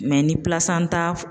ni pilasanta